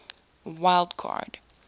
wild card